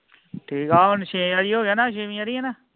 ਠੀਕ ਆ ਹੁਣ ਆਈ ਛੇ ਵਾਰੀ ਹੋ ਗਿਆ ਨਾ ਛੇਵੀਂ ਵਾਰੀ ਹੈ ਨਾ